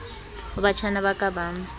ho batjhana ba ka ba